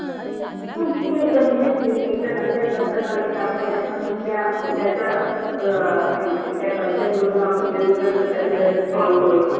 एकदा कन्सेप्ट लाशात आले कि आपण त्याच्या मधल्या डोक्या त्या कन्सेप्ट मधून इंस्तोल करू शकतो